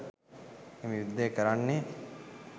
එම යුද්ධය කරන්නේ